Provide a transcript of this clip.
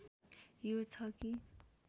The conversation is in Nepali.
यो छ कि